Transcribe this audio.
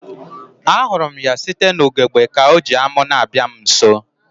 A hụrụ m ya site n'ugegbe ka ọ ji amu na-abịa m nso